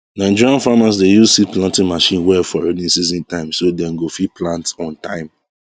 nigerian farmers dey use seed planting machine well for rainy season time so dem go fit plant on time